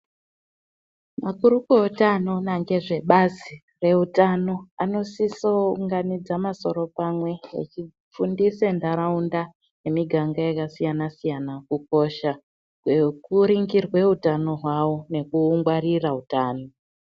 Makurukota anoona nezve Bazi rezveutano vanosisa kuunganidza masoro pamwe vechifundisa nharaunda nemiganga yakasiyana siyana kukosha kwekuringirwa utano hwavo nekuungwarira utano.